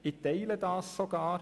Ich teile diese Ansicht sogar.